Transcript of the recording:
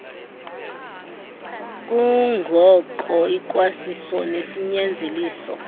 kungko ikwasiso nesinyanzeliso